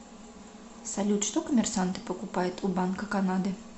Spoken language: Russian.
салют что коммерсанты покупают у банка канады